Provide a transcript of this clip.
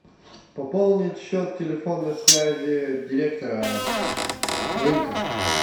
пополнить счет телефонной связи директора рынка